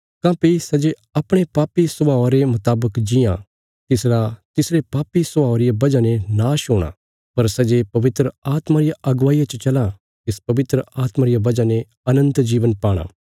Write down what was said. काँह्भई सै जे अपणे पापी स्वभावा रे मुतावक जीआं तिसरा तिसरे पापी स्वभावा रिया वजह ने नाश हूणा पर सै जे पवित्र आत्मा रिया अगुवाईया च चलां तिस पवित्र आत्मा रिया वजह ने अनन्त जीवन पाणा